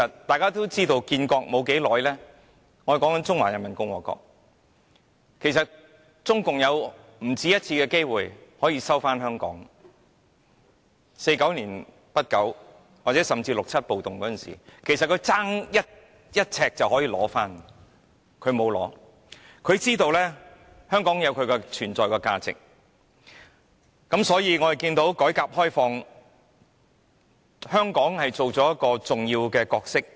大家也知道中華人民共和國建國沒多久，已不止一次有機會可以收回香港，即如1949年中共建國之初，甚至六七暴動時，中國差點便可以取回香港，但國家並沒有這樣做，因為明白香港有其存在價值。